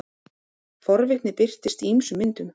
forvitni birtist í ýmsum myndum